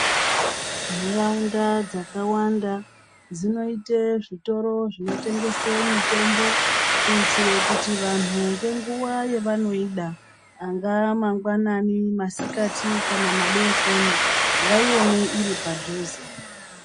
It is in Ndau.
Nharaunda dzakawanda dzinoita zvitoro zvinotengeswa mitombo kuitira kuti vantu ngenguwa yavanoida angava mangwanani masikati kana madekoni vaione iri padhuze.